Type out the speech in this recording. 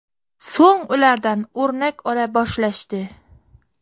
So‘ng ulardan o‘rnak ola boshlashdi.